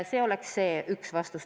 Seda esiteks.